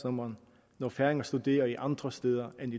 når færinger studerer andre steder end